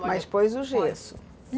Mas pôs o gesso?